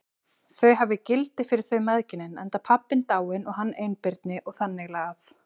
Þau hafi gildi fyrir þau mæðginin, enda pabbinn dáinn og hann einbirni og þannig lagað.